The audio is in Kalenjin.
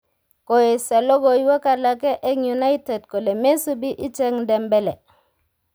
Koesio logoiywek alake eng United kole mesubi ichek Dembele.